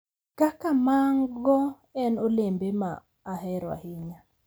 Kaka mango en olembe ma ahero ahinya,